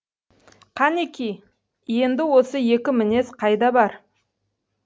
кәнеки енді осы екі мінез қайда бар